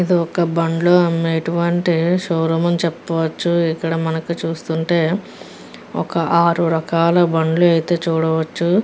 ఇది ఒక బండ్లో అమ్మేటటువంటి షో రూమ్ అని చెప్పవచ్చు. ఇక్కడ మనకు చూస్తుంటే ఒక ఆరు రకాల బండ్లు అయితే చూడవచ్చు.